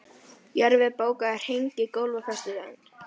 Jörfi, bókaðu hring í golf á föstudaginn.